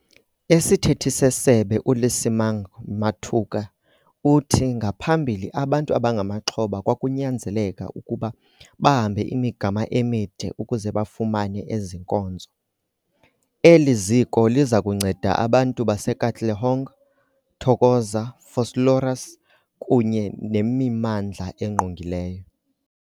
Isithethi seSebe uLesemang Matuka uthi ngaphambili abantu abangamaxhoba kwakunyanzeleka ukuba bahambe imigama emide ukuze bafumane ezi nkonzo. Eli ziko liza kunceda abantu baseKatlehong, Thokoza, Vosloorus kunye nemimmandla engqongileyo.